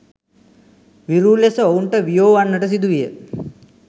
විරූ ලෙස ඔවුන්ට වියෝ වන්නට සිදුවිය.